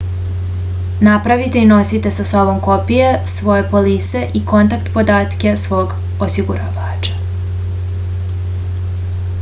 napravite i nosite sa sobom kopije svoje polise i kontakt podatke svog osiguravača